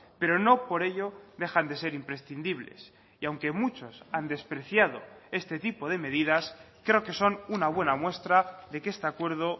pero no por ello dejan de ser imprescindibles y aunque muchos han despreciado este tipo de medidas creo que son una buena muestra de que este acuerdo